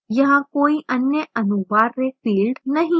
यहाँ कोई अन्य अनुवार्य fields नहीं है